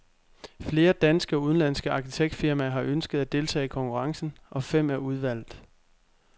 Flere danske og udenlandske arkitektfirmaer har ønsket at deltage i konkurrencen, og fem er udvalgt.